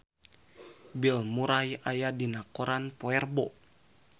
Bill Murray aya dina koran poe Rebo